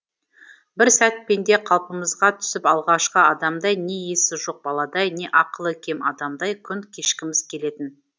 бір сәт пенде қалпымызға түсіп алғашқы адамдай не есі жоқ баладай не ақылы кем адамдай күн кешкіміз келетін